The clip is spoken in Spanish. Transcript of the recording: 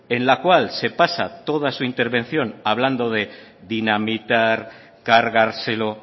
en la cual se pasa toda su intervención hablando de dinamitar cargárselo